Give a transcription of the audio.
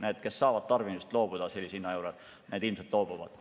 Need, kes saavad sellise hinna juures tarbimisest loobuda, ilmselt ka loobuvad.